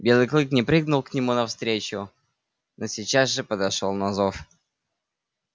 белый клык не прыгнул к нему навстречу но сейчас же подошёл на зов